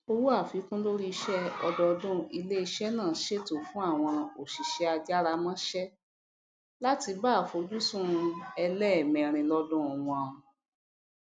owó àfikún lorí ìṣẹ ọdọọdún iléiṣẹ náà ṣètò fún àwọn òsìsẹ ajáramọsẹ láti bá àfojúsùn ẹlẹẹmẹrin lọdún wọn